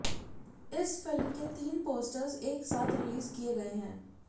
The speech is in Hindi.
इस फिल्म के तीन पोस्टर्स एक साथ रिलीज किए गए हैं